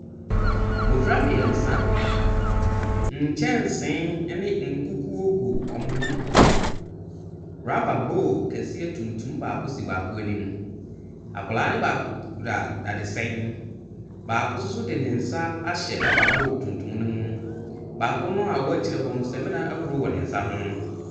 Mmɔfra mmiɛnsa, nkyɛnse ne nkukuo gu wɔn ho, rubber bowl kɛseɛ tuntum baako si baako anim. Akwadaa no baako kura dadesɛn, baako nso de ne nsa ahyɛ rubber bowl tuntum ne mu, baako a ɔwɔ akyire hɔ no, samina ahuro wɔ ne nsa ho.